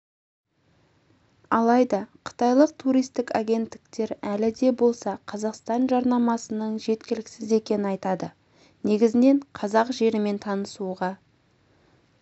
алайда қытайлық туристік агенттіктер әлі де болса қазақстан жарнамасының жеткіліксіз екенін айтады негізінен қазақ жерімен танысуға